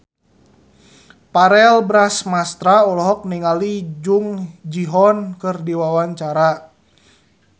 Verrell Bramastra olohok ningali Jung Ji Hoon keur diwawancara